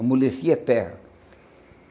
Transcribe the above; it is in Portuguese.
Amolecia terra.